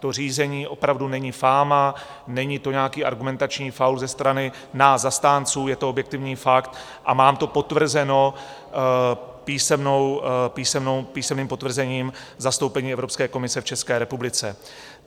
To řízení opravdu není fáma, není to nějaký argumentační faul ze strany nás zastánců, je to objektivní fakt a mám to potvrzeno písemným potvrzením v zastoupení Evropské komise v České republice.